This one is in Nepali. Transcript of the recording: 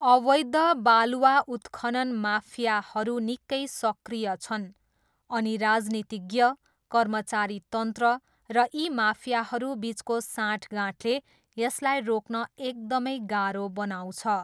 अवैध बालुवा उत्खनन माफियाहरू निकै सक्रिय छन् अनि राजनीतिज्ञ, कर्मचारीतन्त्र र यी माफियाहरू बिचको साँठगाँठले यसलाई रोक्न एकदमै गाह्रो बनाउँछ।